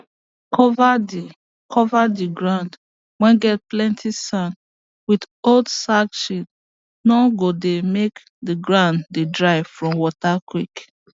cover the cover the ground whey get plenty sand with old sackshe no go dey make the ground dey dry from water quick